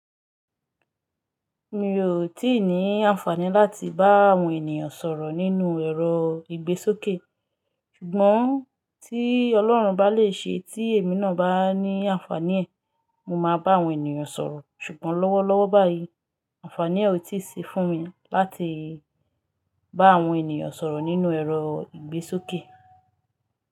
Mi ò tí ì ní àǹfààní láti bá àwọn ènìyàn sọ̀rọ̀ nínú ẹ̀rọ ìgbésókè. Ṣùgbọ́n tí Ọlọ́run bá lè ṣe tí èmi náà bá ní àǹfààní ẹ̀, mo máa bá àwọn ènìyàn sọ̀rọ̀. Ṣùgbọ́n lọ́wọ́lọ́wọ́ báyìí, àǹfààní e ò tíì sí fún mi láti bá àwọn ènìyàn sọ̀rọ̀ nínú ẹ̀rọ ìgbésókè.